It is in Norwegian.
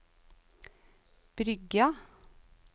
Bryggja